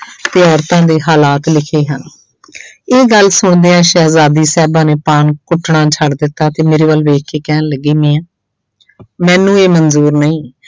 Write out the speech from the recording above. ਤੇ ਔਰਤਾਂ ਦੇ ਹਾਲਾਤ ਲਿਖੇ ਹਨ ਇਹ ਗੱਲ ਸੁਣਦਿਆਂ ਸ਼ਹਿਜਾਦੀ ਸਾਹਿਬਾਂ ਨੇ ਪਾਨ ਕੁੱਟਣਾ ਛੱਡ ਦਿੱਤਾ ਤੇ ਮੇਰੇ ਵੱਲ ਵੇਖ ਕੇ ਕਹਿਣ ਲੱਗੀ ਮੀਆਂ ਮੈਨੂੰ ਇਹ ਮੰਨਜ਼ੂਰ ਨਹੀਂ